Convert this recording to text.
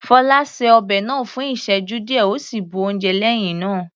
Fola ṣe ọbẹ̀ náà fún ìsẹ́jú díẹ̀ ó sì bu oúnjẹ lẹ́hìn náà.